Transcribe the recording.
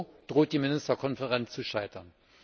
So droht die Ministerkonferenz zu scheitern.